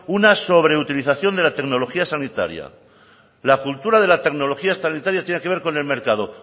una sobreutilización de la tecnología sanitaria la cultura de la tecnología sanitaria tiene que ver con el mercado